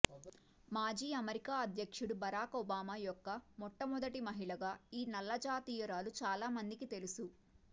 మాజీ అమెరికా అధ్యక్షుడు Barack Obama యొక్క మొట్టమొదటి మహిళగా ఈ నల్లజాతీయురాలు చాలామందికి తెలుసు